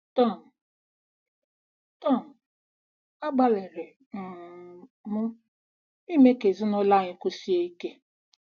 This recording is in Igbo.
Tom: Tom: Agbalịrị um m ime ka ezinụlọ anyị kwụsie ike.